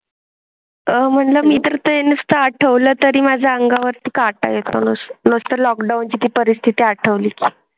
आह म्हणजे मी तर ते नुसतं आठवलं तरी माझ्या अंगावर काटा येतो लॉकडाउन ची परिस्थिती आठवली.